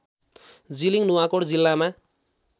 जिलिङ नुवाकोट जिल्लामा